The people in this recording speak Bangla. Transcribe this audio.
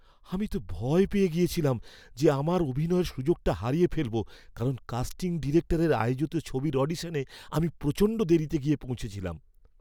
আমি তো ভয় পেয়ে গেছিলাম যে আমার অভিনয়ের সুযোগটা হারিয়ে ফেলব কারণ কাস্টিং ডিরেক্টরের আয়োজিত ছবির অডিশনে আমি প্রচণ্ড দেরিতে গিয়ে পৌঁছেছিলাম!